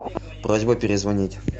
просьба перезвонить